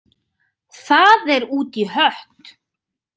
Það er út í hött.